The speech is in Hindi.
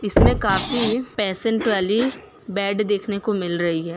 इसमें काफी पेशेंट वाली बेड देखने को मिल रही है।